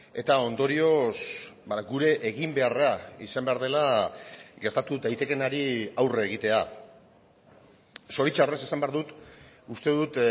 eta ondorioz gure eginbeharra izan behar dela gertatu daitekeenari aurre egitea zoritxarrez esan behar dut uste dut